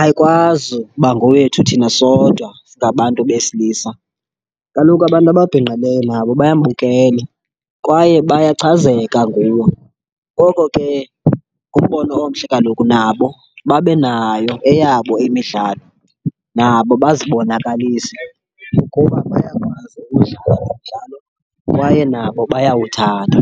ayikwazi ukuba ngowethu thina sodwa singabantu besilisa. Kaloku abantu ababhinqileyo nabo bayambukele kwaye bayachazeka nguwo, ngoko ke ngumbono omhle kaloku nabo babe nayo eyabo imidlalo, nabo bazibonakalise ukuba bayakwazi ukudlala lo mdlalo kwaye nabo bayawuthanda.